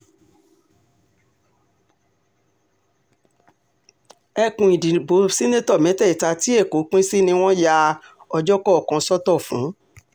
ẹkùn ìdìbò ṣètẹ́tò mẹ́tẹ̀ẹ̀ta tí èkó pín sí ni wọ́n ya ọjọ́ kọ̀ọ̀kan sọ́tọ̀ fún